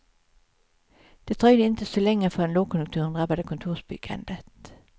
Det dröjde inte så länge förrän lågkonjunkturen drabbade kontorsbyggandet.